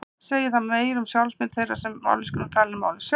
segir það meira um sjálfsmynd þeirra sem mállýskuna tala en málið sjálft